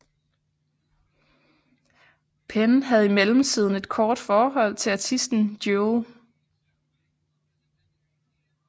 Penn havde i mellemtiden et kort forhold til artisten Jewel